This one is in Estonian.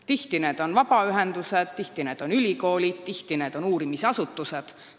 Tihti on need vabaühendused, tihti on need ülikoolid, tihti on need uurimisasutused.